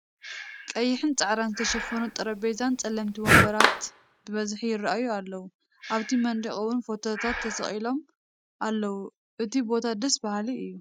ቀይሕን ፃዕዳን ዝተሸፈኑ ጤረጴዛን ፀለምቲን ወንበራት ብበዝሒ ይርኣዩ ኣለው ።ኣብቲ መንደቅ እውን ፎቶታት ተሰቂሎም ኣለው እቱይ ቦታ ደስ ባሃሊ እዩ።